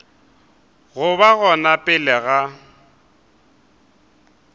go ba gona pele ga